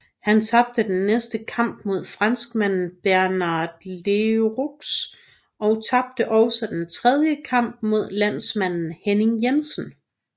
Han tabte den næste kamp mod franskmanden Bernard Leroux og tabte også den tredje kamp mod landsmanden Henning Jensen